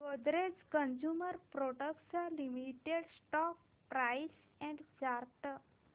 Godrej consumer products limited stock price and chart